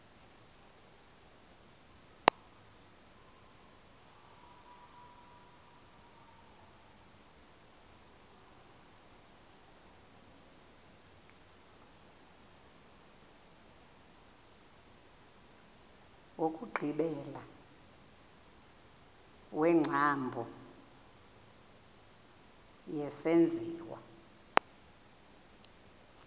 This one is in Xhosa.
wokugqibela wengcambu yesenziwa